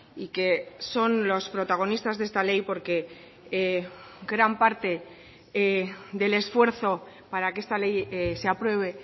y que son los protagonistas de esta ley porque gran parte del esfuerzo para que esta ley se apruebe